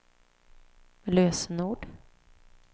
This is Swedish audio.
lösenord